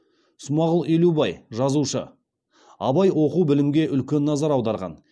смағұл елубай жазушы абай оқу білімге үлкен назар аударған